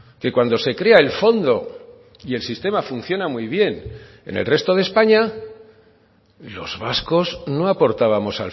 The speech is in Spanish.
que cuando se crea el fondo y el sistema funciona muy bien en el resto de españa los vascos no aportábamos